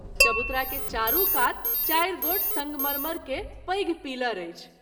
चबुतरा के चारू कात चारि गोट संगमरमर के पैघ पीलर अछि।